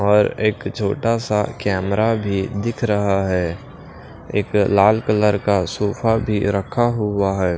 और एक छोटा सा कैमरा भी दिख रहा है एक लाल कलर का सोफा भी रखा हुआ है।